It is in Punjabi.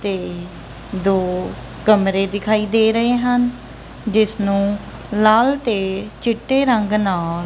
ਤੇ ਦੋ ਕਮਰੇ ਦਿਖਾਈ ਦੇ ਰਹੇ ਹਨ ਜਿੱਸਨੂੰ ਲਾਲ ਤੇ ਚਿੱਟੇ ਰੰਗ ਨਾਲ --